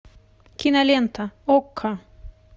кинолента окко